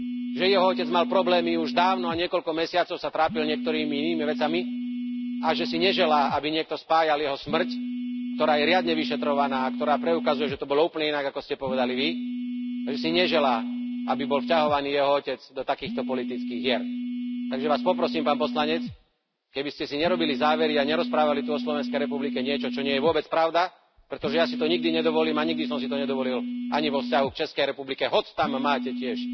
že jeho otec mal problémy už dávno a niekoľko mesiacov sa trápil niektorými inými vecami, a že si neželá, aby niekto spájal jeho smrť, ktorá je riadne vyšetrovaná a ktorá preukazuje, že to bolo úplne inak, ako ste povedali Vy, že si neželá, aby bol jeho otec vťahovaný do takýchto politických hier. Takže Vás poprosím, pán poslanec, aby ste si nerobili závery a nerozprávali tu o Slovenskej republike niečo, čo nie je vôbec pravda, pretože ja si to nikdy nedovolím a nikdy som si to nedovolil ani vo vzťahu k Českej republike, hoci tam máte tiež